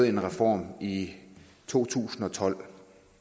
en reform i to tusind og tolv